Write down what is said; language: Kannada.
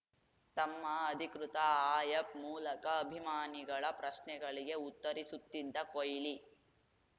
ತಮ್ಮ ಅಧಿಕೃತ ಆಯಪ್‌ ಮೂಲಕ ಅಭಿಮಾನಿಗಳ ಪ್ರಶ್ನೆಗಳಿಗೆ ಉತ್ತರಿಸುತ್ತಿದ್ದ ಕೊಹ್ಲಿ